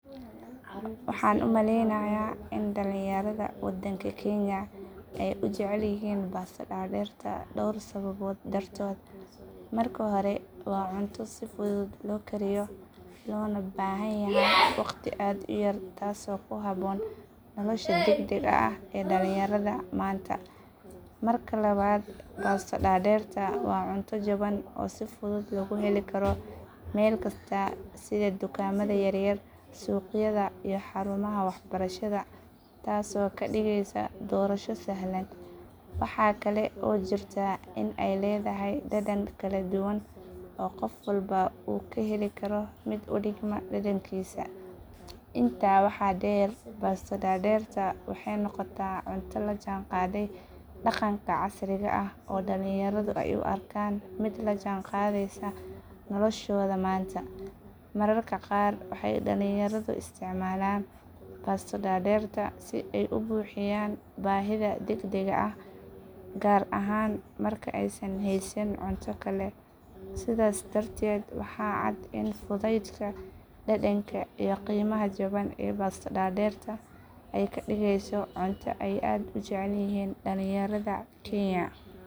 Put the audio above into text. Waxaan u malaynayaa in dhallinyarada wadanka kenya ay u jecel yihiin baasto dadeerta dhowr sababood dartood. Marka hore waa cunto si fudud loo kariyo loona baahan yahay waqti aad u yar taasoo ku habboon nolosha degdega ah ee dhallinyarada maanta. Marka labaad baasto dadeerta waa cunto jaban oo si fudud lagu heli karo meel kasta sida dukaamada yar yar, suuqyada iyo xarumaha waxbarashada taasoo ka dhigaysa doorasho sahlan. Waxaa kale oo jirta in ay leedahay dhadhan kala duwan oo qof walba uu ka heli karo mid u dhigma dhadhankiisa. Intaa waxaa dheer baasto dadeerta waxay noqotay cunto la jaanqaaday dhaqanka casriga ah oo dhallinyaradu ay u arkaan mid la jaanqaadaysa noloshooda maanta. Mararka qaar waxay dhallinyaradu isticmaalaan baasto dadeerta si ay u buuxiyaan baahida degdegga ah gaar ahaan marka aysan haysan cunto kale. Sidaas darteed waxaa cad in fudaydka, dhadhanka iyo qiimaha jaban ee baasto dadeerta ay ka dhigayaan cunto ay aad u jecel yihiin dhallinyarada kenya.